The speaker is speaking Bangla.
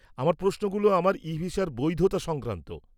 আমার প্রশ্নগুলো আমার ইভিসার বৈধতা সংক্রান্ত।